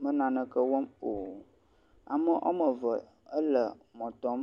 me naneke wɔm o ame wɔmeve éle mɔtɔm